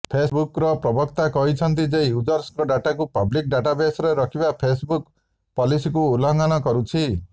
ଫେସ୍ବୁକ୍ର ପ୍ରବକ୍ତା କହିଛନ୍ତି ଯେ ୟୁଜର୍ଙ୍କ ଡାଟାକୁ ପବ୍ଲିକ୍ ଡାଟାବେସ୍ରେ ରଖିବା ଫେସ୍ବୁକ ପଲିସିକୁ ଉଲ୍ଲଂଘନ କରୁଛି